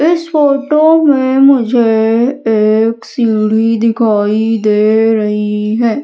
इस फोटो में मुझे एक सीढ़ी दिखाई दे रही है।